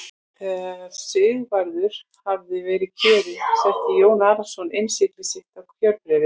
Þegar Sigvarður hafði verið kjörinn setti Jón Arason innsigli sitt á kjörbréfið.